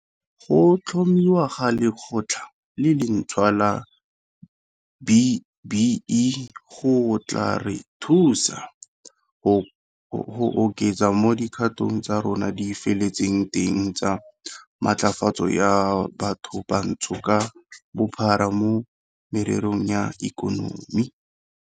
Go tlhomiwa ga Lekgotla le lentšhwa la B-BBEE go tla re thusa go oketsa mo dikgato tsa rona di feletseng teng tsa matlafatso ya bathobantsho ka bophara mo mererong ya ikonomi.